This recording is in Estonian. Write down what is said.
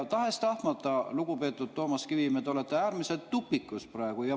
Tahes-tahtmata, lugupeetud Toomas Kivimägi, te olete tupikus praegu.